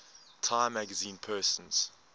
time magazine persons